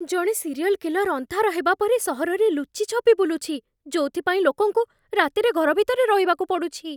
ଜଣେ serial killer ଅନ୍ଧାର ହେବା ପରେ ସହରରେ ଲୁଚି ଛପି ବୁଲୁଛି, ଯୋଉଥିପାଇଁ ଲୋକଙ୍କୁ ରାତିରେ ଘର ଭିତରେ ରହିବାକୁ ପଡ଼ୁଛି।